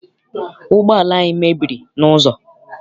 Ụgbọala anyị mebiri n'ụzọ.